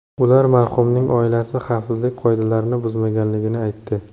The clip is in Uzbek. Ular marhumning oilasi xavfsizlik qoidalarini buzmaganligini aytdi.